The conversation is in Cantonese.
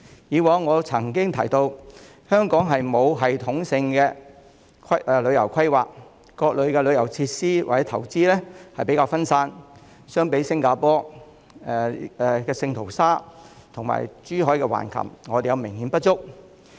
以往我曾經提到，香港沒有系統性的旅遊規劃，各類旅遊設施或投資比較分散，相比新加坡聖淘沙和珠海橫琴島，我們都明顯不足。